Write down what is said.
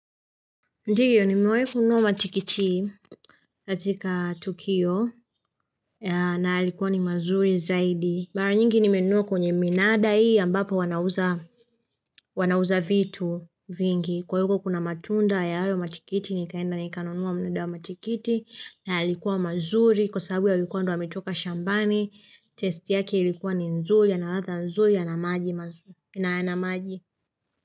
Ndiyo nimewahi funua matikiti katika Tukio na yalikuwa ni mazuri zaidi. Mara nyingi nimenunua kwenye minada hii ambapo wanauza vitu vingi. Kwa huko kuna matunda ya hayo matikiti ni kaenda ni kanunua muda wa matikiti na yalikuwa mazuri. Kwa sababu yalikuwa ndio yametoka shambani, testi yake ilikuwa ni nzuri, yana radhaa nzuri, yana maji.